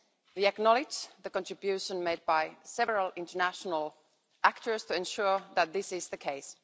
We acknowledge the contribution made by several international actors to ensure that this is the case.